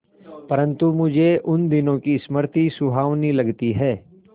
परंतु मुझे उन दिनों की स्मृति सुहावनी लगती है